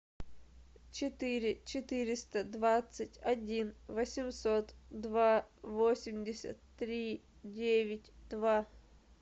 четыре четыреста двадцать один восемьсот два восемьдесят три девять два